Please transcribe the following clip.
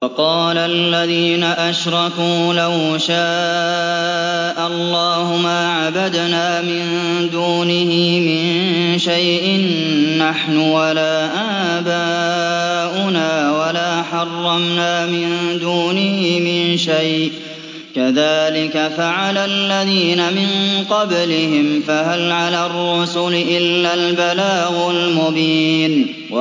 وَقَالَ الَّذِينَ أَشْرَكُوا لَوْ شَاءَ اللَّهُ مَا عَبَدْنَا مِن دُونِهِ مِن شَيْءٍ نَّحْنُ وَلَا آبَاؤُنَا وَلَا حَرَّمْنَا مِن دُونِهِ مِن شَيْءٍ ۚ كَذَٰلِكَ فَعَلَ الَّذِينَ مِن قَبْلِهِمْ ۚ فَهَلْ عَلَى الرُّسُلِ إِلَّا الْبَلَاغُ الْمُبِينُ